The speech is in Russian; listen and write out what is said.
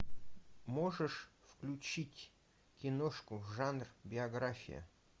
можешь включить киношку жанр биография